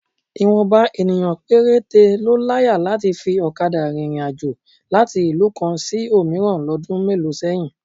Ìwọ̀nba ènìyàn péréte ló láyà láti fi ọ̀kadà rìnrìn àjò láti ìlú kan sí òmíràn lọ́dún mélòó sẹ́yìn